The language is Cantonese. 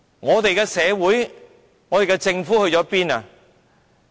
我們的社會和政府在哪裏？